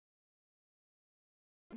Drífðu þig, sagði hann.